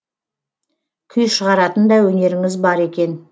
күй шығаратын да өнеріңіз бар екен